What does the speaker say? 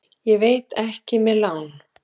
Ég veit ekki með lán.